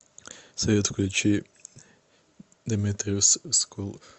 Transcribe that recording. салют включи деметриус скул